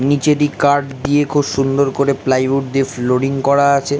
নিচে দিক কাঠ দিয়ে খুব সুন্দর করে প্লাই উড দিয়ে ফ্লোডিং করা আছে ।